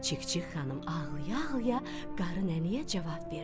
Çik-çik xanım ağlaya-ağlaya qarı nənəyə cavab verdi.